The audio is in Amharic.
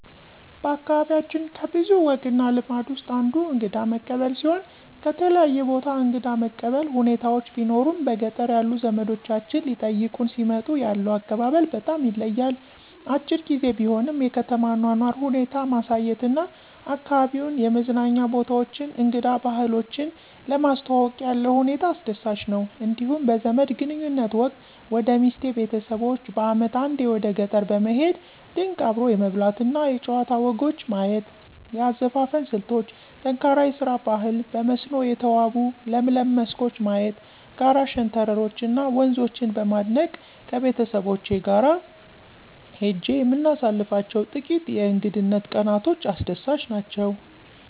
በአካባቢያችን ከብዙ ወግ እና ልማዶች ውስጥ አንዱ እንግዳ መቀበል ሲሆን ከተለያየ ቦታ እንግዳ መቀበል ሁኔታዎች ቢኖሩም በገጠር ያሉ ዘመዶቻችን ሊጠይቁን ሲመጡ ያለው አቀባበል በጣም ይለያል። አጭር ግዜ ቢሆንም የከተማ አኗኗር ሁኔታ ማሳየት እና አካባቢዉን የመዝናኛ ቦታዎችን እንግዳ ባህሎችን ለማስተዋወቅ ያለው ሁኔታ አስደሳች ነው። እንዲሁም በዘመድ ግንኙነት ወቅት ወደ ሚስቴ ቤተሰቦች በአመት አንዴ ወደ ገጠር በመሄድ ድንቅ አብሮ የመብላት እና የጨዋታ ወጎች ማየት; የአዘፋፈን ስልቶች: ጠንካራ የስራ ባህል; በመስኖ የተዋቡ ለምለም መስኮች ማየት; ጋራ ሸንተረሮች እና ወንዞችን በማድነቅ ከቤተሰቦቼ ጋር ሄጄ የምናሳልፋቸው ጥቂት የእንግድነት ቀናቶች አስደሳች ናቸው።